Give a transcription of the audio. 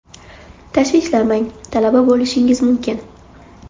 Tashvishlanmang, talaba bo‘lishingiz mumkin.